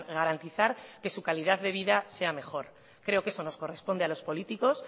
garantizar que su calidad de vida sea mejor creo que eso nos corresponde a los políticos